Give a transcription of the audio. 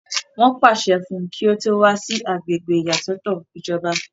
wọ́n pàṣẹ fún un kí ó kó wá sí agbègbè ìyàsọ́tọ̀ ìjọba